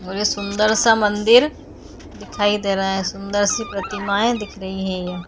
और ये सुंदर सा मंदिर दिखाई दे रहा है सुंदर सी प्रतिमाये दिख रही है ये।